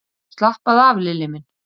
Slappaðu af, Lilli minn!